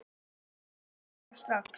Við skulum fara strax.